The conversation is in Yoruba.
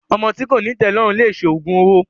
Ọmọ tí kòní ìtẹ́lọ́rùn lese òògùn owó.